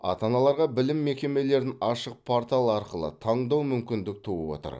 ата аналарға білім мекемелерін ашық портал арқылы таңдау мүмкіндік туып отыр